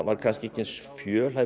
kannski ekki eins fjölhæfur